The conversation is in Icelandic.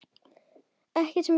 Ekki sem verst?